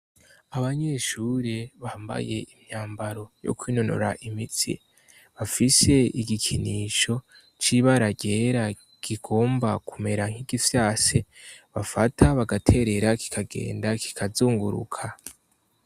Abanyeshuri bambaye imyambaro yo kwinonora imitsi, bafise igikinisho c'ibara ryera kigomba kumera nk'igifyase, bafata bagaterera kikagenda kikazunguruka.